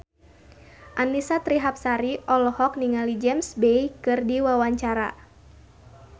Annisa Trihapsari olohok ningali James Bay keur diwawancara